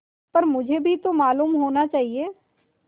पर मुझे भी तो मालूम होना चाहिए